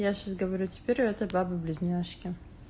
я сейчас говорю теперь у этой бабы близняшки